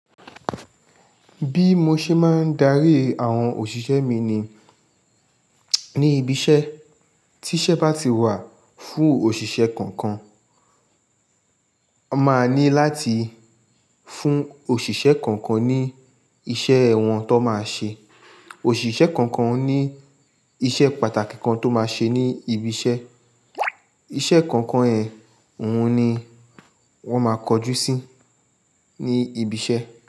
Bí mo ṣe máa ń darí àwọn òṣìṣẹ́ mi ni, ní ibi iṣẹ́, tí iṣẹ́ bá ti wà fún òṣìṣẹ́ kankan, a máa ní láti fún òṣìṣẹ́ kankan ní iṣẹ́ wọn tó máa ṣe. Òṣìṣẹ́ kọ̀ọ̀kan ní iṣẹ́ pàtàkì kan tó máa ṣe ní ibi iṣẹ́. Iṣẹ́ kọ̀ọ̀kan oun ni won máa kojú sí ní ibi iṣẹ́.